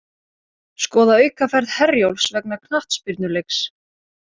Skoða aukaferð Herjólfs vegna knattspyrnuleiks